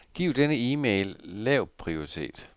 Giv denne e-mail lav prioritet.